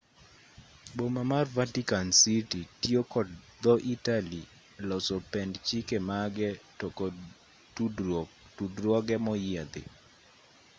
boma mar vatican city tiyo kod dho-italy e loso pend chike mage to kod tudruoge moyiedhi